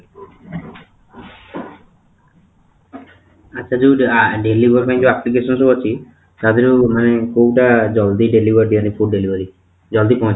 ସେ ଯୋଉ ଆଃ delivery ପାଇଁ ଯୋଉ application ସବୁ ଅଛି ତା ଦେହରୁ ମାନେ କୋଉଟା ଜଲ୍ଦି delivery ମାନେ food delivery ଜଲ୍ଦି ପହଞ୍ଚିବ?